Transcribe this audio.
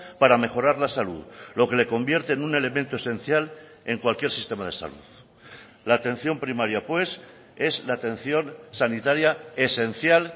para mejorar la salud lo que le convierte en un elemento esencial en cualquier sistema de salud la atención primaria pues es la atención sanitaria esencial